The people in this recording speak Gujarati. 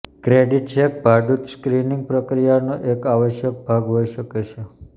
ક્રેડિટ ચેક ભાડૂત સ્ક્રિનિંગ પ્રક્રિયાનો એક આવશ્યક ભાગ હોઈ શકે છે